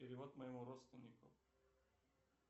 перевод моему родственнику